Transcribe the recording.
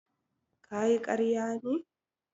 Kayi ƙarya ne?